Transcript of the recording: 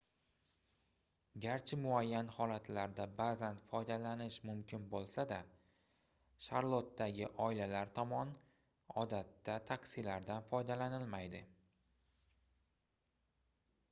garchi muayyan holatlarda baʼzan foydalanish mumkin boʻlsa-da sharlotdagi oilalar tomon odatda taksilardan foydalanilmaydi